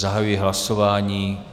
Zahajuji hlasování.